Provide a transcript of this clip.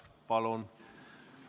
Palun!